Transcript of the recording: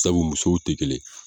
Sabu musow te kelen